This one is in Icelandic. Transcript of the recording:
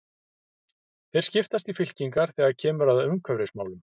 Þeir skiptast í fylkingar þegar kemur að umhverfismálum.